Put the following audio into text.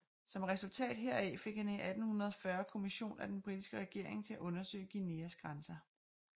Som resultat heraf fik han i 1840 kommission af den britiske regering til at undersøge Guianas grænser